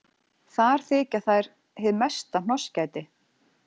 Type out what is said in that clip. Þar þykja þær hið mesta hnossgæti.